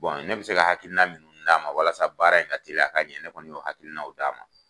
ne bɛ se ka hakina minnu d'a ma walasa baara in ka teliya a ka ɲɛ ne kɔni y'o hakilinaw d'a ma.